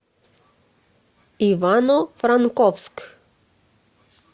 ивано франковск